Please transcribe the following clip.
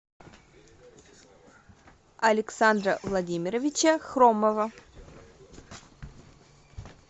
александра владимировича хромова